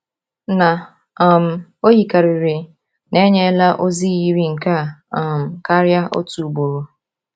Na um o yikarịrị na e nyela ozi yiri nke a um karịa otu ugboro.